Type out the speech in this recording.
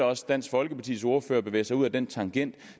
også dansk folkepartis ordfører bevæge sig ud ad den tangent